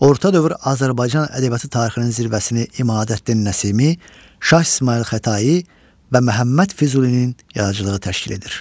Orta əsr Azərbaycan ədəbiyyatı tarixinin zirvəsini İmadəddin Nəsimi, Şah İsmayıl Xətai və Məhəmməd Füzulinin yaradıcılığı təşkil edir.